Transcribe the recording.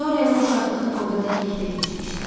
Dorianın uşaqlığı burda təklikdə keçmişdi.